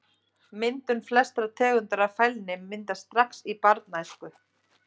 Myndun Flestar tegundir af fælni myndast strax í barnæsku.